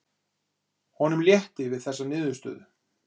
Honum létti við þessa niðurstöðu.